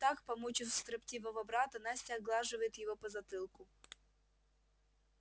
так помучив строптивого брата настя оглаживает его по затылку